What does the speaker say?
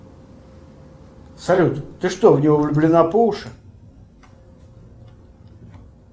салют ты что в него влюблена по уши